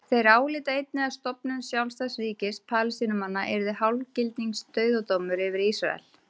Þeir álíta einnig að stofnun sjálfstæðs ríkis Palestínumanna yrði hálfgildings dauðadómur yfir Ísrael.